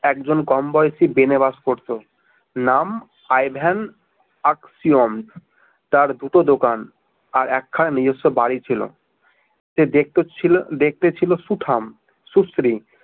একজন কমবয়সী ভেনে বাস করতো নাম আই ভেন আক সিয়ম তার দুটো দোকান আর এক খানা নিজস্ব বাড়ী ছিল। সে দেখতে ছিল সুঠাম সুশ্রী